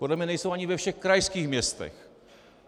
Podle mě nejsou ani ve všech krajských městech.